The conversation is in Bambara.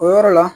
O yɔrɔ la